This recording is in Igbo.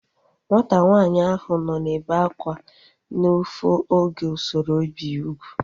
Nwata nwaanyị ahu nọ na-ebe akwa n'ufu oge usoro ibi ya ugwu